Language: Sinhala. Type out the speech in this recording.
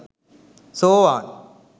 සෝවාන්,